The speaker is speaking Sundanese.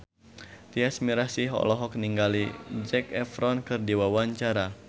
Tyas Mirasih olohok ningali Zac Efron keur diwawancara